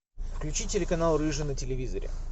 включи телеканал рыжий на телевизоре